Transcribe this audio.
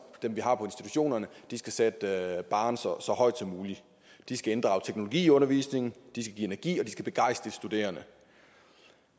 dem vi har på institutionerne skal sætte barren så så højt som muligt de skal inddrage teknologi i undervisningen de skal give energi og de skal begejstre de studerende